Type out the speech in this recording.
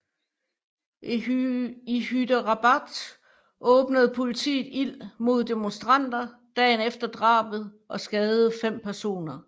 I Hyderabad åbnede politiet ild mod demonstranter dagen efter drabet og skadede fem personer